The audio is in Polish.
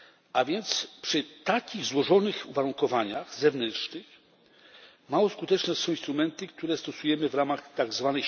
A więc przy takich złożonych uwarunkowaniach zewnętrznych mało skuteczne są instrumenty, które stosujemy w ramach tzw.